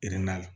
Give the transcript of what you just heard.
la